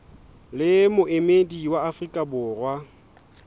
le moemedi wa afrika borwa